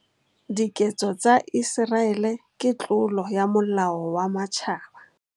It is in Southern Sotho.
Diketso tsa Iseraele ke tlolo ya molao wa Matjhaba.